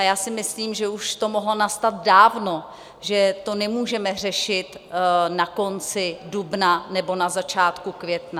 A já si myslím, že už to mohlo nastat dávno, že to nemůžeme řešit na konci dubna nebo na začátku května.